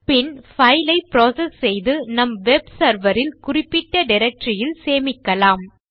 பின் file ஐ process செய்து நம் வெப் செர்வர் இல் குறிப்பிட்ட டைரக்டரி இல் சேமிக்கலாம்